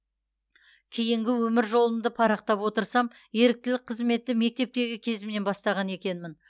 кейінгі өмір жолымды парақтап отырсам еріктілік қызметті мектептегі кезімнен бастаған екенмін